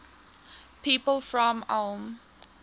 people from ulm